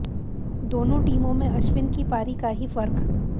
दोनों टीमों में अश्विन की पारी का ही फ़र्क